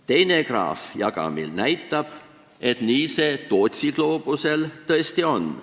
Teine graaf jagamil näitab, et nii see Tootsi gloobusel tõesti on.